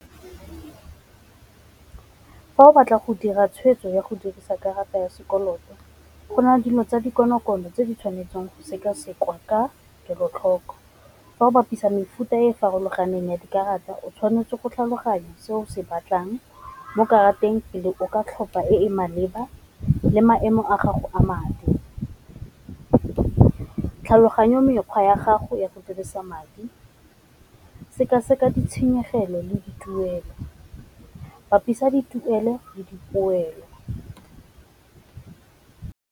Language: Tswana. Fa o batla go dira tshweetso ya go dirisa karata ya sekoloto gona dilo tsa dikonokono tse di tshwanetseng go seka-sekwa ka kelotlhoko. Fa o bapisa mefuta e farologaneng ya dikarata o tshwanetse go tlhaloganya seo se batlang mo karateng pele o ka tlhopa e e maleba le maemo a gago a madi, tlhaloganya mekgwa ya gago ya go dirisa madi, seka-seka ditshenyegelo le di tuelo, bapisa dituelo le dipoelo.